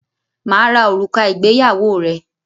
Mà á ra òrùka ìgbéyàwó rẹ.